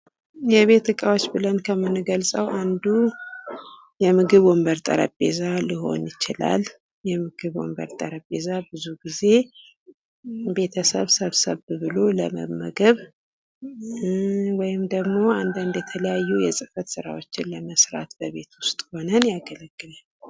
የቤት እቃዎች ብለን ከምንገልፀው አንዱ ወንበር ጠረጴዛ ልሆን ይችላል ብዙ ጊዜ ሰብሰብ ብሎ ለመመገብ ወይም ደሞ አንዳንድ የተለያዩ የህፈት ራዎችን ለመስራት በቤት ውስጥ ሆነን ያገለግል